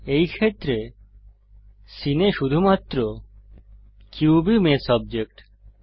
এই ক্ষেত্রে সীনে শুধুমাত্র কিউবই মেষ অবজেক্ট